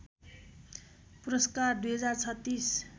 पुरस्कार २०३६